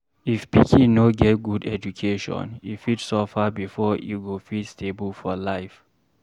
If pikin no get good education, e fit suffer before e go fit stable for life